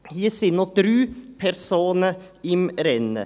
Hier sind noch drei Personen im Rennen.